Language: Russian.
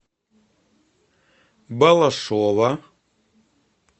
балашова